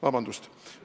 Vabandust!